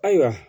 Ayiwa